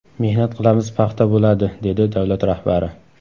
Mehnat qilamiz, paxta bo‘ladi”, dedi davlat rahbari.